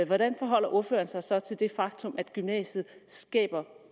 hvordan forholder ordføreren sig så til det faktum at gymnasiet skaber